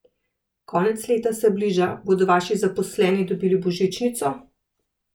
Konec leta se bliža, bodo vaši zaposleni dobili božičnico?